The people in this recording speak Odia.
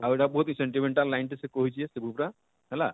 ଆଉ ଇଟା ବହୁତ ହିଁ sentimental line ଟେ ସେ କହିଛେ ସେ ବୁପ୍ରା ହେଲା